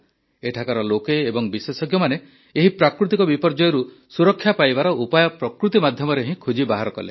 ଏଠାକାର ଲୋକେ ଏବଂ ବିଶେଷଜ୍ଞମାନେ ଏହି ପ୍ରାକୃତିକ ବିପର୍ଯ୍ୟୟରୁ ସୁରକ୍ଷା ପାଇବାର ଉପାୟ ପ୍ରକୃତି ମାଧ୍ୟମରେ ହିଁ ଖୋଜି ବାହାର କଲେ